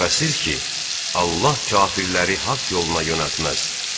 Şübhəsiz ki, Allah kafirləri haqq yoluna yönəltməz.